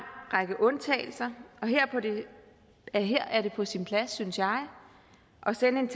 række undtagelser og her er det på sin plads synes jeg at sende en